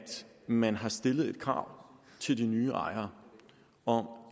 man har stillet et krav til de nye ejere om